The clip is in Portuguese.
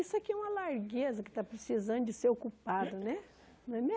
Isso aqui é uma largueza que está precisando de ser ocupado né, não é